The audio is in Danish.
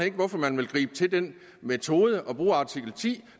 ikke hvorfor man vil gribe til den metode at bruge artikel ti